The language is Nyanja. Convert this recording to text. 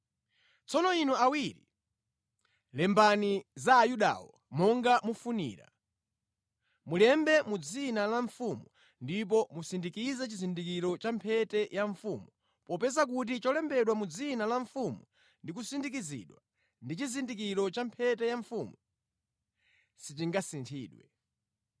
Tsono inu awiri, lembani za Ayudawo monga mufunira. Mulembe mʼdzina la mfumu ndipo musindikize chizindikiro cha mphete ya mfumu popeza kuti cholembedwa mʼdzina la mfumu ndi kusindikizidwa ndi chizindikiro cha mphete ya mfumu sichingasinthidwe.”